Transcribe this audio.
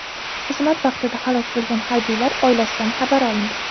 Xizmat vaqtida halok bo‘lgan harbiylar oilasidan xabar olindi.